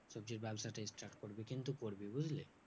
সবজির ব্যাবসাটা start করবি। কিন্তু করবি বুঝলি?